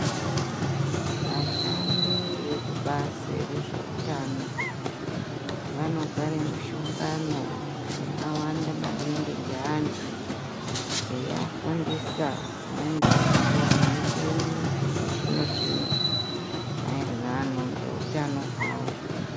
Vashandi vekubazi rezveutano vanogare mishongano yakawanda maningi ngeantu eiafundisa dzimweni dzemukuwo nemicheni yechizvino zvino maererano neutano hwavo.